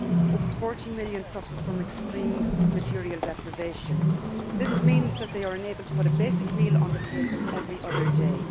Over 40 million suffer from extreme material deprivation, this means that they are unable to put a basic meal on the table every other day.